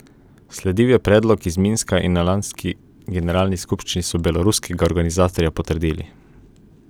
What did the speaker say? Sledil je predlog iz Minska in na lanski generalni skupščini so beloruskega organizatorja potrdili.